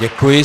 Děkuji.